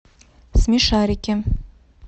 смешарики